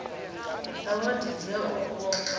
dza wadi dzi a vhofha